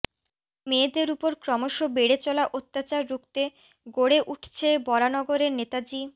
মেয়েদের উপর ক্রমশ বেড়ে চলা অত্যাচার রুখতে গড়ে উঠছে বরানগরের নেতাজি